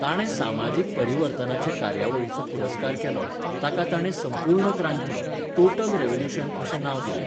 ताणें समाजीक परिवर्तनाचे कार्यावळीचो पुरस्कार केलो, ताका ताणें संपूर्ण क्रांती, 'टोटल रिव्हॉल्युशन' अशें नांव दिलें.